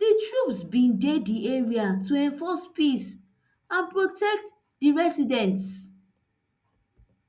di troops bin dey di area to enforce peace and protect di residents